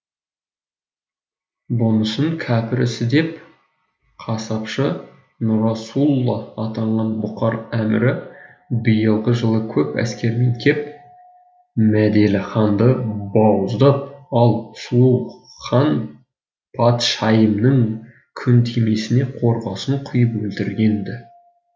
бұнысын кәпір ісі деп қасапшы нұрасулла атанған бұқар әмірі биылғы жылы көп әскерімен кеп мәделіханды бауыздап ал сұлу хан патшайымның күнтимесіне қорғасын құйып өлтірген ді